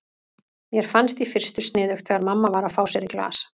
Mér fannst í fyrstu sniðugt þegar mamma var að fá sér í glas.